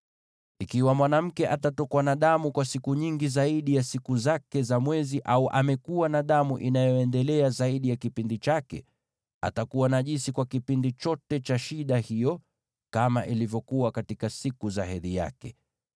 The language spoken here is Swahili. “ ‘Ikiwa mwanamke atatokwa na damu kwa siku nyingi zaidi ya siku zake za mwezi, au amekuwa na damu inayoendelea zaidi ya kipindi chake, atakuwa najisi kwa kipindi chote cha shida hiyo, kama ilivyokuwa katika siku za hedhi yake.